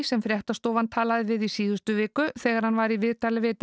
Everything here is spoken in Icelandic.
sem fréttastofa talaði við í síðustu viku þegar hann var í viðtali við